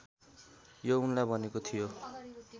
यो उनलाई भनेको थियो